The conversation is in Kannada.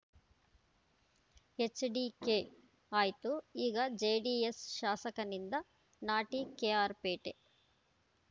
ಎಚ್‌ಡಿಕೆ ಆಯ್ತು ಈಗ ಜೆಡಿಎಸ್‌ ಶಾಸಕನಿಂದ ನಾಟಿ ಕೆಆರ್‌ಪೇಟೆ